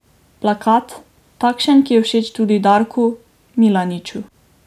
Plakat, takšen, ki je všeč tudi Darku Milaniču.